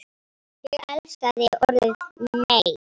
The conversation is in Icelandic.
Ég elskaði orðið NEI!